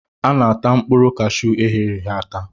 A na-ata mkpụrụ cashuu eghereghe ata.